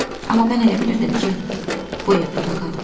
Amma mən elə bilirdim ki, bu ev burda qalıb.